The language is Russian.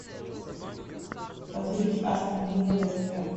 позырить астон вилла вест хэм